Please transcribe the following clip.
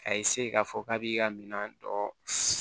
A ye k'a fɔ k'a b'i ka minɛn dɔ